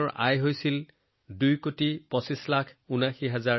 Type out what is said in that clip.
কিতাপখনৰ এটা ঠাইত লিখাৰ দৰে ২০২২ চনত তেওঁ নিজৰ শ্বৰ পৰা ২৩৫৮৯৬৭৪ৰ টকা উপাৰ্জন কৰিছিল